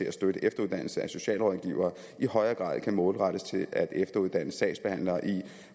at støtte efteruddannelsen af socialrådgivere i højere grad skal målrettes til at efteruddanne sagsbehandlere i